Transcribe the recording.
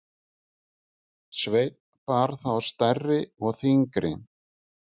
Sveinn bar þá stærri og þyngri.